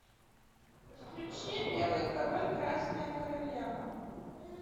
включи белый король красная королева